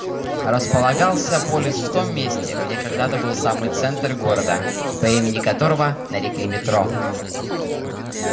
располагался полис в том месте где когда-то был самый центр города по имени которого нарекли метро